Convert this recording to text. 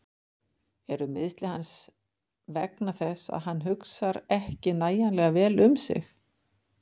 Eru meiðsli hans vegna þess að hann hugsar ekki nægilega vel um sig?